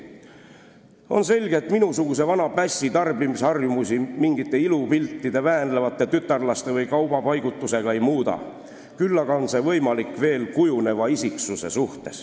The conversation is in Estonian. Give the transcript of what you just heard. On selge, et minusuguse vana pässi tarbimisharjumusi mingite ilupiltide, väänlevate tütarlaste või kaubapaigutusega ei muuda, küll on see võimalik veel kujuneva isiksuse puhul.